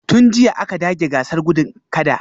Tun jiya aka dage gasar gudun kada